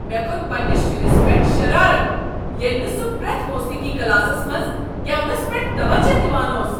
مےٚ کھوٚت پنٛنس شُرس پٮ۪ٹھ شرارتھ ییٚلہ نہٕ سُہ پرٛیتھ موٗسیٖقی کلاسس منٛز گٮ۪ونس پٮ۪ٹھ توجہ دوان اوس۔